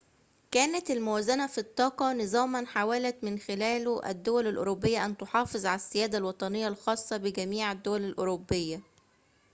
كانت الموازنة في الطاقة نظاماً حاولت من خلاله الدول الأوروبية أن تُحافظ على السيادة الوطنية الخاصة بجميع الدول الأوروبية